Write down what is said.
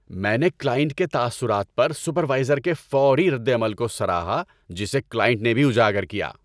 میں نے کلائنٹ کے تاثرات پر سپروائزر کے فوری ردعمل کو سراہا جسے کلائنٹ نے بھی اجاگر کیا۔